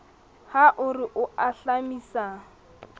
ha o re o ahlamisa